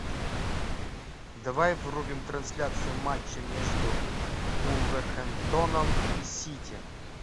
давай врубим трансляцию матча между вулверхэмптоном и сити